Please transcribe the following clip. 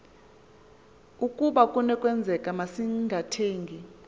ukaba kunokwenzeka masingathengi